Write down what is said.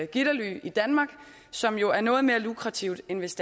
gitterly i danmark som jo er noget mere lukrativt end hvis